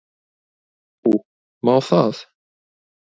Nú, má það?